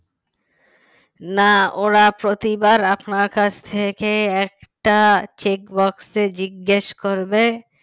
না ওরা প্রতিবার আপনার কাছ থেকে একটা checkbox জিজ্ঞেস করবে